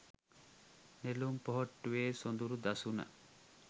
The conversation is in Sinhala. නෙළුම් පොහොට්ටුවේ සොඳුරු දසුන